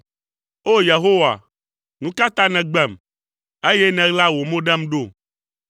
O! Yehowa, nu ka ta nègbem, eye nèɣla wò mo ɖem ɖo?